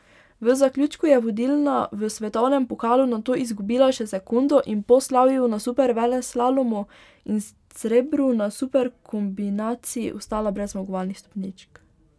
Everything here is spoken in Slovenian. V zaključku je vodilna v svetovnem pokalu nato izgubila še sekundo in po slavju na superveleslalomu in srebru na superkombinaciji ostala brez zmagovalnih stopničk.